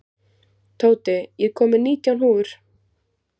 Tóti, ég kom með nítján húfur!